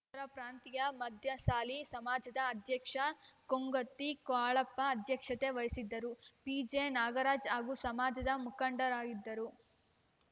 ಉತ್ತರ ಪ್ರಾಂತೀಯ ಮಧ್ಯಸಾಲಿ ಸಮಾಜದ ಅಧ್ಯಕ್ಷ ಕೊಂಗತಿ ಕಾಳಪ್ಪ ಅಧ್ಯಕ್ಷತೆ ವಹಿಸಿದ್ದರು ಪಿಜೆನಾಗರಾಜ ಹಾಗೂ ಸಮಾಜದ ಮುಖಂಡರು ಇದ್ದರು